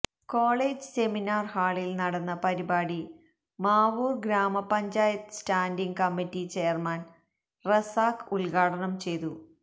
college seminar ഹാളിൽ നടന്ന പരിപാടി മാവൂർ ഗ്രാമ panchayat standing committee chairman Razak ഉദ്ഘാടനം ചെയ്തു